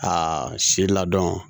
A si ladɔn